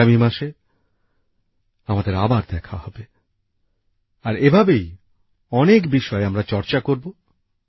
আগামী মাসে আমাদের আবার দেখা হবে আর এভাবেই অনেক বিষয়ে আমরা চর্চা করব